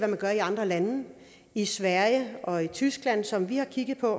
man gør i andre lande i sverige og tyskland som vi har kigget på